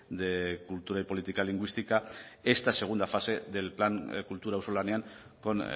de cultura y política lingüística esta segunda fase del plan kultura auzolanean con